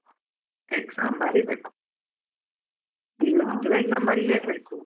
Exam ಬರೀಬೇಕು, exam ಬರಿಲೇಬೇಕು.